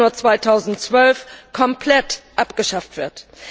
1. Januar 2012 komplett abgeschafft wird.